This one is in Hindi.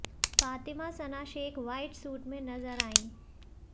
फातिमा सना शेख व्हाइट सूट में नजर आईं